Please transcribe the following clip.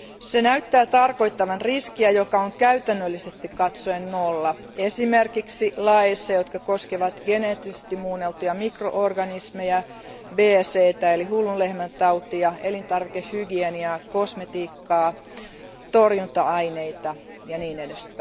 Se näyttää tarkoittavan riskiä, joka on käytännöllisesti katsoen nolla, esimerkiksi laeissa, jotka koskevat geneettisesti muunneltuja mikro organismeja, BSEtä eli hullun lehmän tautia, elintarvikehygieniaa, kosmetiikkaa, torjunta aineita jne.